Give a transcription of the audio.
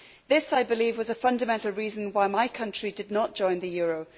This, I believe, was the fundamental reason why my country did not join the euro.